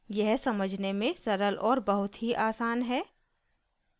यह समझने में सरल और बहुत ही आसान है